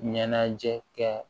Ɲɛnajɛ kɛ